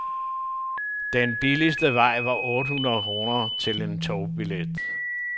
Den billigste vej var otte hundrede kroner til en togbillet.